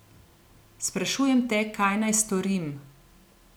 Sprašujem te, kaj naj storim.